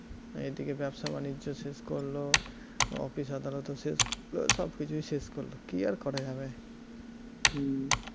এদিকে ব্যবসা বাণিজ্য শেষ করল office আদালতও শেষ করল, সবকিছুই শেষ করল, কী আর করা যাবে?